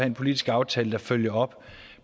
en politisk aftale der følger op